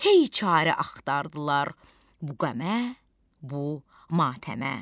Hey çarə axtardılar bu qəmə, bu matəmə.